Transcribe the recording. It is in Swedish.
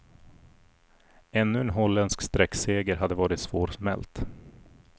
Ännu en holländsk sträckseger hade varit svårsmält.